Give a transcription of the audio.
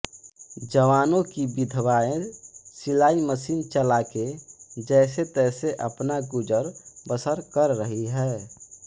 जवानों की विधवाएं सिलाई मशीन चलाके जैसे तैसे अपना गुज़र बसर कर रही है